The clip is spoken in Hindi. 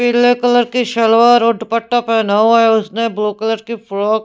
पीले कलर की सलवार और दुपट्टा पहना हुआ है उसने ब्लू कलर की फ्रॉक--